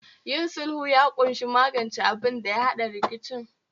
Yin sulhu ya kunshi magance abinda ya hada rikicin